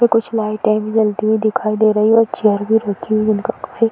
पे कुछ लाइटें भी जलती हुई दिखाई दे रही है और चेयर भी रखी हुई है। जिनका कोई --